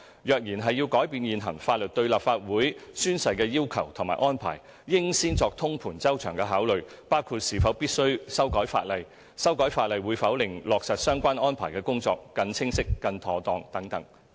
若然要改變現行法律對立法會宣誓的要求和安排，應先作通盤周詳的考慮，包括是否必須修改法例、修改法例會否令落實相關安排的工作更清晰、更妥當等。